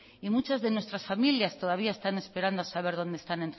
y muchas de nuestras familias todavía están esperando a saber dónde están